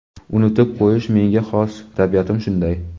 Unutib qo‘yish menga xos, tabiatim shunday.